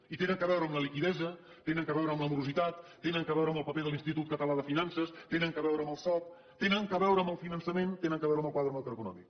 i tenen a veure amb la liquiditat tenen a veure amb la morositat tenen a veure amb el paper de l’institut català de finances tenen a veure amb el soc tenen a veure amb el finançament tenen a veure amb el quadre macroeconòmic